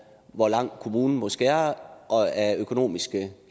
hvor meget kommunen må skære af økonomiske